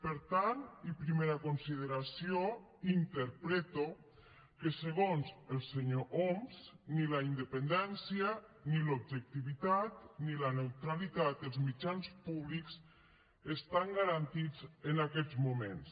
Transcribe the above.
per tant i primera consideració interpreto que segons el senyor homs ni la independència ni l’objectivitat ni la neutralitat dels mitjans públics estan garantits en aquests moments